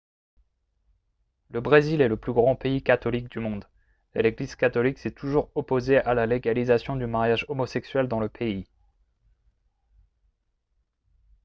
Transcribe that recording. le brésil est le plus grand pays catholique du monde et l'église catholique s'est toujours opposée à la légalisation du mariage homosexuel dans le pays